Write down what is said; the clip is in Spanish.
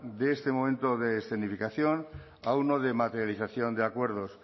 de este momento de escenificación a uno de materialización de acuerdos